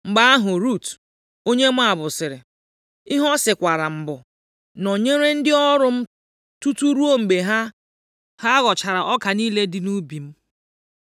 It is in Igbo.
Mgbe ahụ Rut, onye Moab sịrị, “Ihe ọ sịkwara m bụ, ‘Nọnyere ndị ọrụ m tutu ruo mgbe ha ghọchara ọka niile dị nʼubi m.’ ”